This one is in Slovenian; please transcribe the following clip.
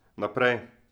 Naprej.